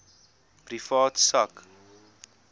privaat sak